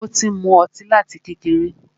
Ó ti ń mú ọtí láti kékeré.